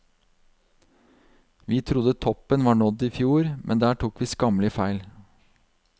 Vi trodde toppen var nådd i fjor, men der tok vi skammelig feil.